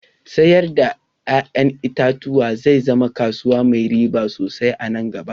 Sayar da ya'yan itatuwa zai zama kasuwa mai riba sosai anan gaba